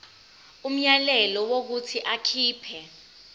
umyalelo wokuthi akhipha